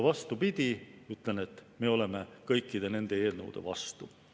Vastupidi, ütlen, et me oleme kõikide nende eelnõude vastu.